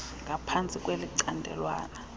h ngaphansti kwelicandelwana